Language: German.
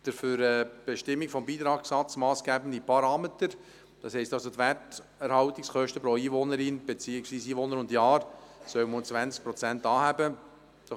Der für die Bestimmung des Beitragssatzes massgebende Parameter, das heisst also die Werterhaltungskosten pro Einwohnerin, beziehungsweise pro Einwohner und Jahr, sollen um 20 Prozent angehoben werden.